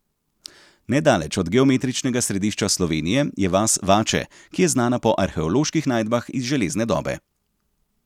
Nedaleč od geometričnega središča Slovenije je vas Vače, ki je znana po arheoloških najdbah iz železne dobe.